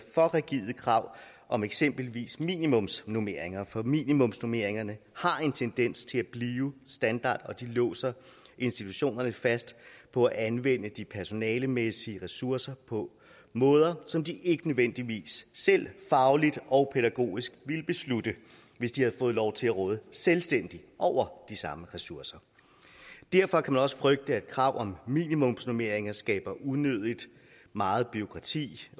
for rigide krav om eksempelvis minimumsnormeringer for minimumsnormeringer har en tendens til at blive standard og de låser institutionerne fast på at anvende de personalemæssige ressourcer på måder som de ikke nødvendigvis selv fagligt og pædagogisk ville beslutte hvis de havde fået lov til at råde selvstændigt over de samme ressourcer derfor kan man også frygte at krav om minimumsnormeringer skaber unødig meget bureaukrati